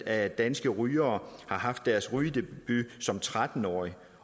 af danske rygere har haft deres rygedebut som tretten årige